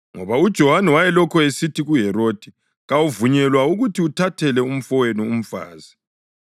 Ngoba uJohane wayelokhu esithi kuHerodi, “Kawuvunyelwa ukuthi uthathele umfowenu umfazi.”